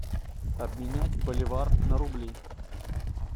обменять боливар на рубли